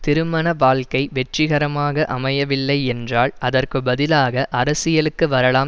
திருமண வாழ்க்கை வெற்றிகரமாக அமையவில்லை என்றால் அதற்கு பதிலாக அரசியலுக்கு வரலாம்